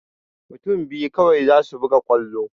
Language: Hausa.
Mutun biyu kawai zasu buga kwallo